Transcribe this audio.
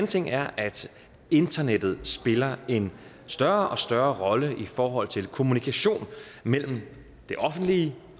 ting er at internettet spiller en større og større rolle i forhold til kommunikation mellem det offentlige